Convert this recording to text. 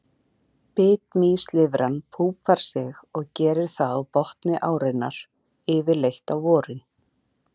Bitmýslirfan púpar sig og gerir það á botni árinnar, yfirleitt á vorin.